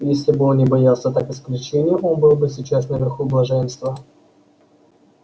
если бы он не боялся так исключения он был бы сейчас наверху блаженства